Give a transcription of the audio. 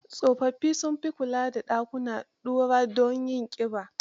Tsofaffi sun fi kula da dakunan ɗura don yin ƙiba.